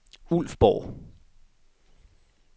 Ulfborg